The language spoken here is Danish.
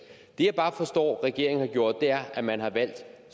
det jeg bare forstår regeringen har gjort er at man har valgt